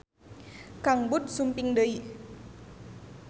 Kang Bud sumping deui